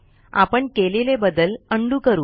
आपण केलेले बदल उंडो करू